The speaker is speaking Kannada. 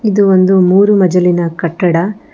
ಇದು ಒಂದು ಮೂರು ಮಜಲಿನ ಕಟ್ಟಡ.